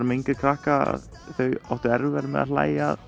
með yngri krakka þau áttu erfiðara með að hlæja að